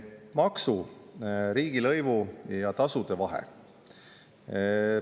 Maksu, riigilõivu ja tasude vahe.